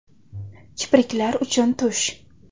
Kipriklar uchun tush .